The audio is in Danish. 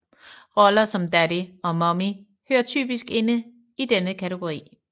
Roller som Daddy og Mommy hører typisk ind i denne kategori